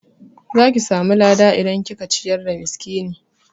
Zaki samu lada idan kika ciyar da miskini